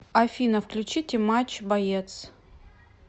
афина включите матч боец